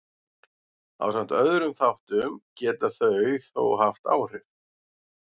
ásamt öðrum þáttum geta þau þó haft áhrif